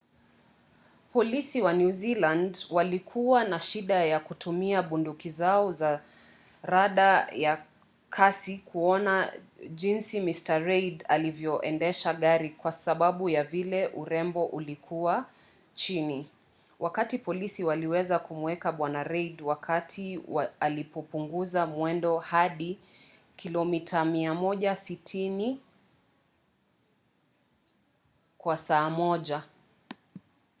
polisi wa new zealand walikua na shida kutumia bunduki zao za rada ya kasi kuona jinsi mr reid alivyoendesha gari kwa sababu ya vile urembo ulikua chini wakati polisi waliweza kumuweka bwana reid wakati alipopunguza mwendo hadi 160 km/h